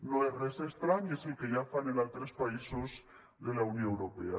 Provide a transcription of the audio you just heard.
no és res estrany és el que ja fan en altres països de la unió europea